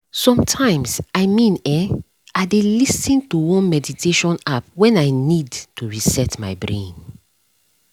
sometimes i mean[um]i dey lis ten to one meditation app when i need to reset my brain